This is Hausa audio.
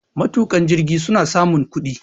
Matuka jirgi suna samun kudi.